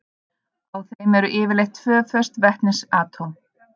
Á þeim eru yfirleitt tvö föst vetnisatóm.